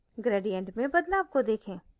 gradient में बदलाव को देखें